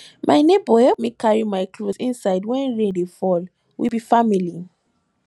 my nebor help me carry my cloth inside wen rain dey fall we be family